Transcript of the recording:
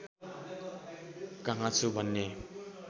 कहाँ छु भन्ने